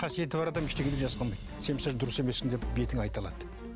қасиеті бар адам ештеңеден жасқанбайды сен мысалы дұрыс емессің деп бетіңе айта алады